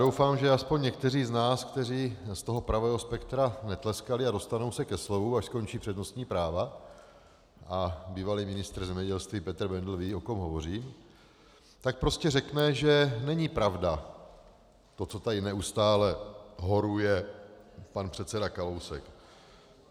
Doufám, že aspoň někteří z nás, kteří z toho pravého spektra netleskali a dostanou se ke slovu, až skončí přednostní práva, a bývalý ministr zemědělství Petr Bendl ví, o kom hovořím, tak prostě řekne, že není pravda to, co tady neustále horuje pan předseda Kalousek.